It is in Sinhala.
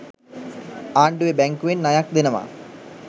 ආණ්ඩුවෙ බැංකුවෙන් ණයක් දෙනවා.